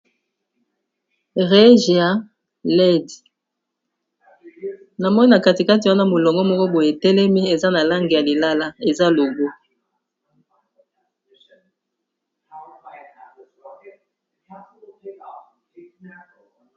AREGIA LEDIS, na moni na katikati wana molongo moko boye e telemi eza na langi ya lilala eza logo .